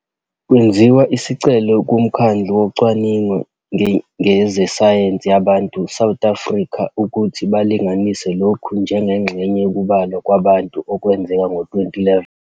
Kwenziwa isicelo kuMkhandlu Wokucwaninga Ngezesayensi Yabantu, South Africa, ukuthi bakulinganise lokhu njengengxenye yokubalwa kwabantu okwenzeka ngo-2011.